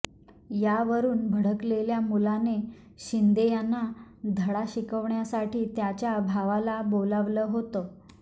यावरून भडकलेल्या मुलाने शिंदे यांना धडा शिकवण्यासाठी त्याच्या भावाला बोलावलं होतं